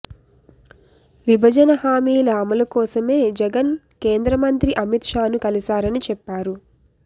విభజన హామీల అమలు కోసమే జగన్ కేంద్రమంత్రి అమిత్ షాను కలిశారని చెప్పారు